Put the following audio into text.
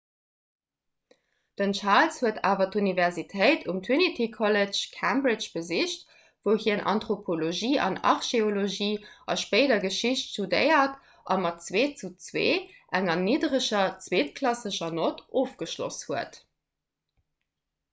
den charles huet awer d'universitéit um trinity college cambridge besicht wou hien anthropologie an archeologie a spéider geschicht studéiert a mat 2:2 enger niddereger zweetklassescher nott ofgeschloss huet